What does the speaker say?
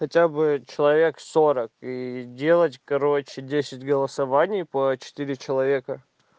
хотя бы человек сорок и делать короче десять голосований по четыре человека